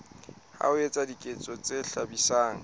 ho etsa diketso tse hlabisang